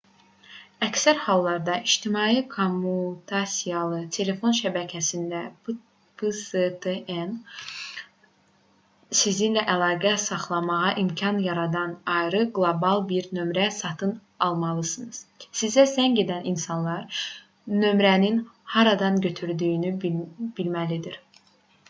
əksər hallarda ictimai kommutasiyalı telefon şəbəkəsindən pstn sizinlə əlaqə saxlamağa imkan yaradan ayrı qlobal bir nömrə satın almalısınız. sizə zəng edən insanlar nömrənin haradan götürüldüyünü bilməlidir